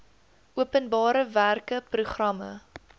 openbare werke programme